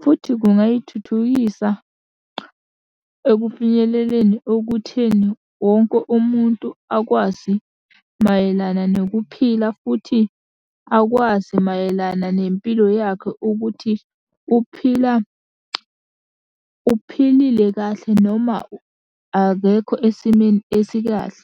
futhi kungayithuthukisa ekufinyeleleni okutheni wonke umuntu akwazi mayelana nokuphila futhi akwazi mayelana nempilo yakhe ukuthi uphila uphilile kahle noma akekho esimeni esikahle.